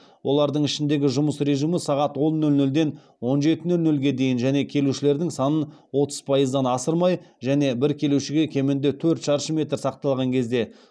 олардың ішіндегі жұмыс режимі сағат он нөл нөлден он жеті нөл нөлге дейін және келушілердің санын отыз пайыздан асырмай және бір келушіге кемінде төрт шаршы метр сақталған кезде